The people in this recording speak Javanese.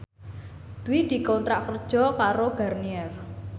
Dwi dikontrak kerja karo Garnier